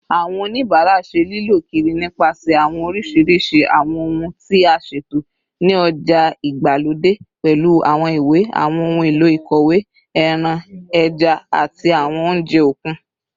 Awọn onibara ṣe lilọ kiri nipasẹ awọn oriṣiriṣi awọn ohun ti a ṣeto ni oja igbalode, pẹlu awọn iwe, awọn ohun elo ikọwe, ẹran, ẹja, ati awọn ounjẹ okun